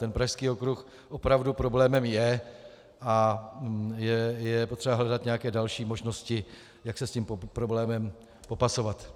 Ten Pražský okruh opravdu problémem je a je potřeba hledat nějaké další možnosti, jak se s tím problémem popasovat.